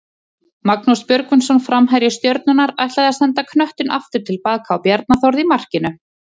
Magnús Björgvinsson framherji Stjörnunnar ætlaði að senda knöttinn aftur tilbaka á Bjarna Þórð í markinu.